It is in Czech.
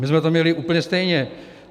My jsme to měli úplně stejně.